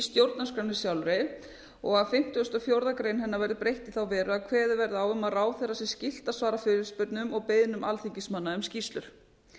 stjórnarskránni sjálfri og að fimmtugasta og fjórðu grein hennar væri breytt í þá veru að kveðið væri á um að ráðherra væri skylt að svara fyrirspurnum og beiðnum alþingismanna um skýrslur